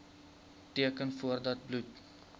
teken voordat bloed